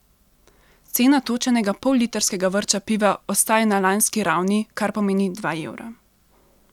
Cena točenega pollitrskega vrča piva ostaja na lanski ravni, kar pomeni dva evra.